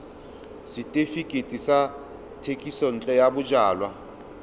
setefikeiti sa thekisontle ya bojalwa